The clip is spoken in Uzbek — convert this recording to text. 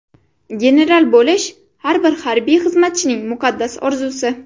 General bo‘lish har bir harbiy xizmatchining muqaddas orzusi.